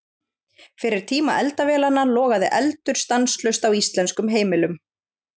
Fyrir tíma eldavélanna logaði eldur stanslaust á íslenskum heimilum.